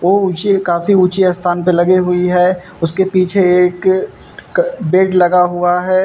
वो ऊंचे काफी ऊंचे स्थान पर लगी हुई है। उसके पीछे एक पेड़ लगा हुआ है।